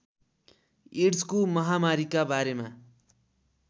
एड्सको महामारीका बारेमा